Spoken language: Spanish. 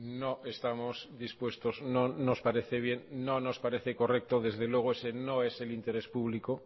no estamos dispuestos no nos parece bien no nos parece correcto desde luego ese no es el interés público